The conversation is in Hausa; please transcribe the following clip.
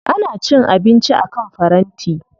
Ana cin abinci akan faranti.